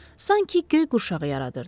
sanki göy qurşağı yaradırdı.